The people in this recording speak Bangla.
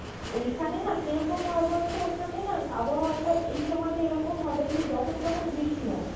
ঐখানে না কিরকম হয় বলতো ওখানে না আবহাওয়াটা এই সময় টা একরকম হবে যে যখন তখন বৃষ্টি নামে